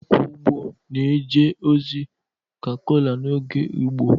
akwa ugbo na-eje ozi ka kola n'oge Igbo